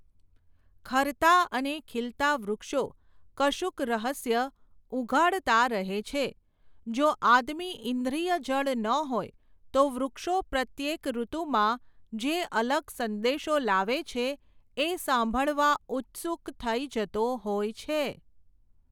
ખરતાં અને ખીલતાં વૃક્ષો, કશુંક રહસ્ય ઊઘાડતાં રહે છે, જો આદમી ઈન્દ્રિયજડ ન હોય, તો વૃક્ષો પ્રત્યેક ઋતુમાં, જે અલગ સંદેશો લાવે છે એ સાંભળવા ઉત્સુક થઈ જતો હોય છે.